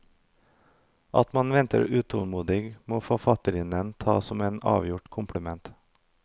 At man venter utålmodig må forfatterinnen ta som en avgjort kompliment.